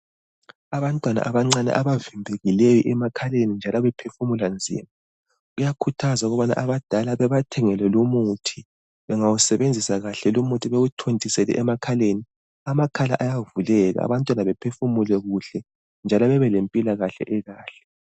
Abantwana abancane abavimbekileyo emakhaleni njalo bephefumula nzima. Kuyakhuthazwa ukubana abadala babathengele lumuthi, bengawusebenzisa kahle lumuthi bawuthontisele emakhaleni, amakhala ayavuleka abantwana bephefumule kuhle njalo bebelempilakahle ekahle.